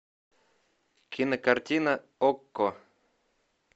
кинокартина окко